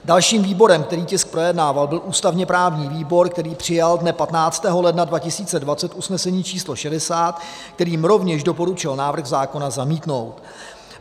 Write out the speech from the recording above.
Dalším výborem, který tisk projednával, byl ústavně-právní výbor, který přijal dne 15. ledna 2020 usnesení číslo 60, kterým rovněž doporučil návrh zákona zamítnout.